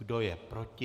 Kdo je proti?